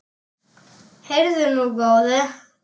Heyrðu nú, góði!